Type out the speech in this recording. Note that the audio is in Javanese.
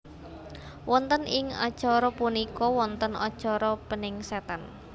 Wonten ing acara punika wonten acara peningsetan